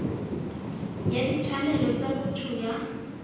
ya ditshwanelo tsa botho ya